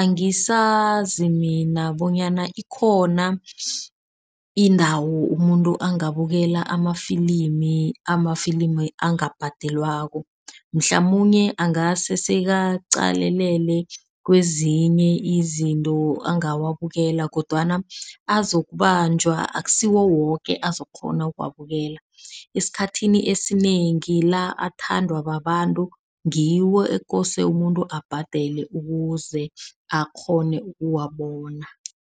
angisazi mina bonyana ikhona indawo umuntu angabukela amafilimi. Amafilimi angabhadelwako mhlamunye angase sekaqalelele kwezinye izinto angawabukela kodwana azokubanjwa. Akusiwo woke azokukghona ukuwabukela. Esikhathini esinengi la athandwa babantu ngiwo ekose umuntu abhadele ukuze akghone ukuwabona.